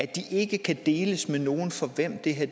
de ikke kan deles med nogen for hvem det her